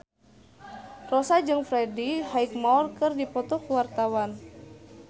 Rossa jeung Freddie Highmore keur dipoto ku wartawan